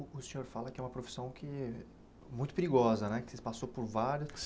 O senhor fala que é uma profissão que muito perigosa né, que você passou por vários.